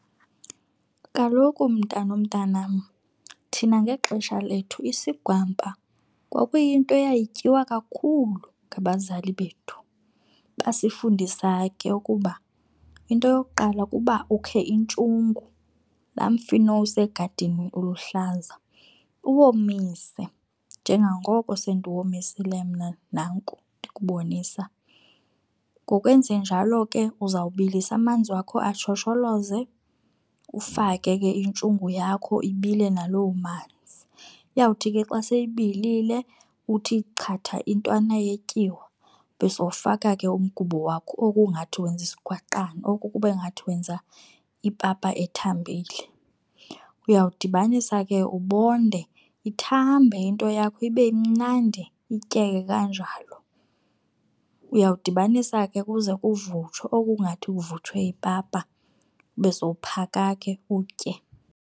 Kaloku, mntanomntanam, thina ngexesha lethu isigwampa kwakuyinto eyayityiwa kakhulu ngabazali bethu. Basifundisa ke ukuba into yokuqala kuba ukhe intshungu, la mfino usegadini uluhlaza, uwomise njengangoko sendiwomisile mna nanku ndikubonisa. Ngokwenzenjalo ke uzawubilisa amanzi wakho ashosholoze ufake ke intshungu yakho ibile naloo manzi. Iyawuthi ke xa seyibilile uthi chatha intwana yetyiwa ube sowufaka ke umgubo wakho okungathi wenza isigwaqana oku kube ngathi wenza ipapa ethambile. Uyawudibanisa ke ubonde ithambe into yakho ibe imnandi ityeke kanjalo. Uyawudibanisa ke kuze kuvuthwe oku kungathi kuvuthwe ipapa ube sowuphaka ke utye.